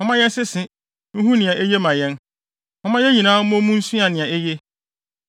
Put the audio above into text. Momma yɛnsese, nhu nea eye ma yɛn. Momma yɛn nyinaa mmɔ mu nsua nea eye.